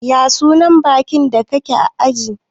ya sunan bankin da kake ajiya?